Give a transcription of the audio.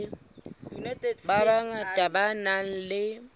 ba bangata ba nang le